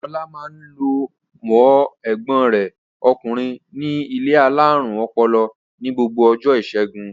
Ọlá máa ń lọ wo ẹ̀gbọ́n rẹ̀ ọkùnrin ní ilé alárùn ọpọlọ ní gbogbo ọjọ́ ìṣẹ́gun.